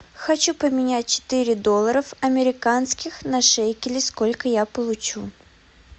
хочу поменять четыре доллара американских на шекели сколько я получу